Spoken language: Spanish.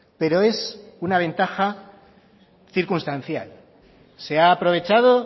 pero es una ventaja circunstancial se ha aprovechado